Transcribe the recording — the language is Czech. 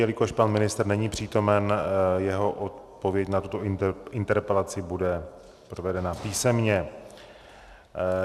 Jelikož pan ministr není přítomen, jeho odpověď na tuto interpelaci bude provedena písemně.